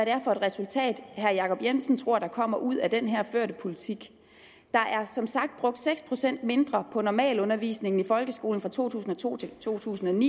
er for et resultat herre jacob jensen tror der kommer ud af den her førte politik der er som sagt brugt seks procent mindre på normalundervisningen i folkeskolen fra to tusind og to til to tusind og ni